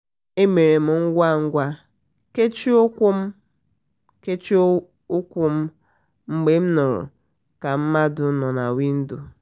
e mere m ngwa ngwa kechie ụkwụ m kechie ụkwụ m mgbe nụrụ ka mmadu nọ na windo